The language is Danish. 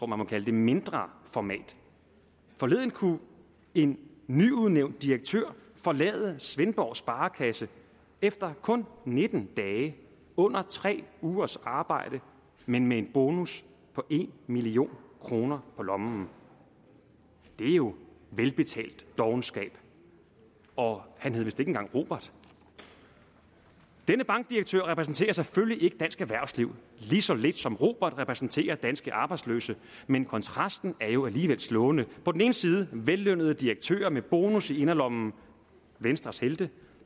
man må kalde mindre format forleden kunne en nyudnævnt direktør forlade svendborg sparekasse efter kun nitten dage under tre ugers arbejde men med en bonus på en million kroner på lommen det er jo velbetalt dovenskab og han hed vist ikke engang robert denne bankdirektør repræsenterer selvfølgelig ikke dansk erhvervsliv lige så lidt som robert repræsenterer danske arbejdsløse men kontrasten er jo alligevel slående på den ene side vellønnede direktører med bonus i inderlommen venstres helte